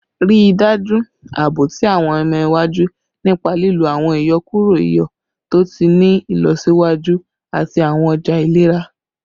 Rii daju aabo ti awọn ọmọ iwaju nipa lilo awọn iyọkuro iyọ to ti ni ilọsiwaju ati awọn ọja ilera